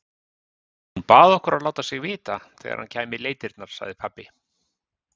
Hún bað okkur að láta sig vita þegar hann kæmi í leitirnar, sagði pabbi.